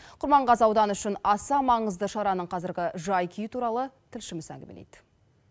құрманғазы ауданы үшін аса маңызды шараның қазіргі жай күйі туралы тілшіміз әңгімелейді